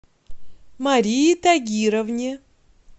марии тагировне